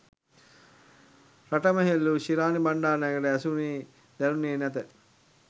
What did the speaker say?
රටම හූල්ලනු ශිරාණි බණ්ඩාරනායකට ඇසුණේ දැනුණේ නැත